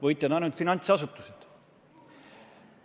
Võitjad on ainult finantsasutused.